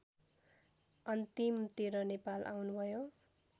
अन्तिमतिर नेपाल आउनुभयो